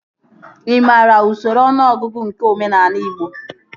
Ị maara usoro ọnụọgụgụ nke omenaala igbo?